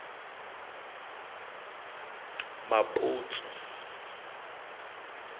maputsu